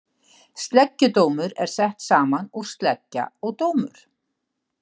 Sleggjudómur er sett saman úr sleggja og dómur.